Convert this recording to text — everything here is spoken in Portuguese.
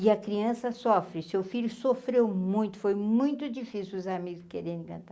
E a criança sofre, seu filho sofreu muito, foi muito difícil os amigos, quererem cantar